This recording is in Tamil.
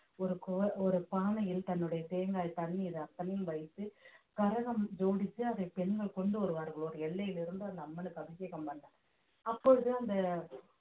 ஒரு கோ~ பானையில் தன்னுடைய தேங்காய் தண்ணீர் அத்தனையும் வைத்து கரகம் ஜோடித்து அதை பெண்கள் கொண்டு வருவார்கள் ஒரு எல்லையிலிருந்து அந்த அம்மனுக்கு அபிஷேகம் பண்ண அப்பொழுது அந்த